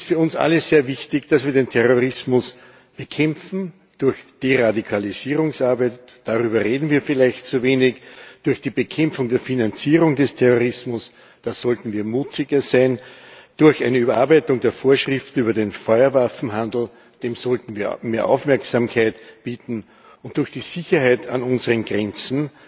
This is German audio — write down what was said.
Es ist für uns alle sehr wichtig, dass wir den Terrorismus bekämpfen, durch Deradikalisierungsarbeit, darüber reden wir vielleicht zu wenig, durch die Bekämpfung der Finanzierung des Terrorismus, da sollten wir mutiger sein, durch eine Überarbeitung der Vorschriften über den Feuerwaffenhandel, dem sollten wir mehr Aufmerksamkeit bieten, und durch die Sicherheit an unseren Grenzen.